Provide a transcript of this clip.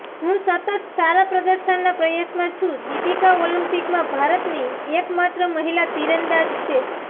હું સતત સારા પ્રદર્શનના પ્રયાસમાં છું દીપિકા ઓલિમ્પિકમાં ભારતની એક માત્ર મહિલા તીરંદાજ છે